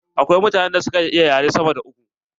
Akwai mutanen da suka iya yare sama da uku.